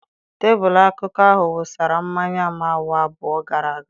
Tebụl akụkụ ahụ wụsara mmanya m awa abụọ gara aga.